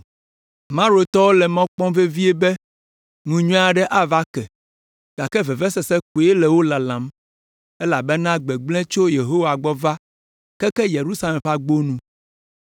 Marotɔwo le mɔ kpɔm vevie be ŋu nyui aɖe ava ke, gake vevesese koe le wo lalam, elabena gbegblẽ tso Yehowa gbɔ va keke Yerusalem ƒe agbo nu.